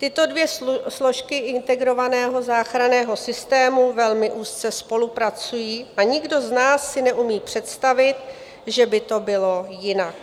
Tyto dvě složky integrovaného záchranného systému velmi úzce spolupracují a nikdo z nás si neumí představit, že by to bylo jinak.